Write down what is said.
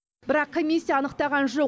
бірақ комиссия анықтаған жоқ